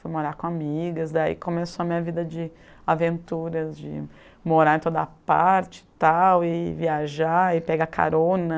Fui morar com amigas, daí começou a minha vida de aventuras, de morar em toda parte e tal, e viajar, e pegar carona.